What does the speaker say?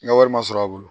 N ka wari ma sɔrɔ a bolo